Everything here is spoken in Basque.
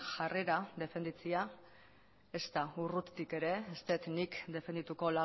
jarrera defenditzea ezta urrutik ere ez dut nik defendituko